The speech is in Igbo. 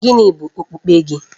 Gịnị bụ okpukpe gị?